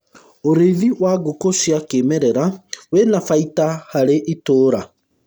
ũrĩithi wa ngũkũ cia kĩmerera wina baida harĩ ituura